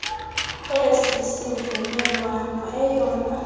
esi sivumelwano eyona